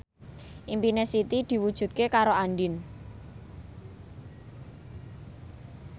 impine Siti diwujudke karo Andien